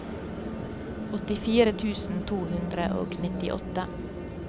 åttifire tusen to hundre og nittiåtte